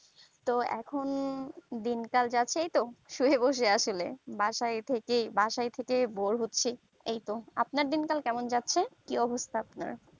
তো এখন দিন কাল যা আছে এইতো শুয়ে বসে আসলে বাসায় থেকে বাসায় থেকে bore হচ্ছি আপনার দিনকাল কেমন যাচ্ছে কি অবস্থা আপনার